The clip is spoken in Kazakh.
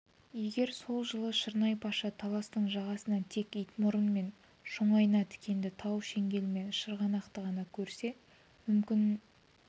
егер сол жылы шырнай-паша таластың жағасынан тек итмұрын мен шоңайна тікенді тау шеңгел мен шырғанақты ғана көрсе мүмкін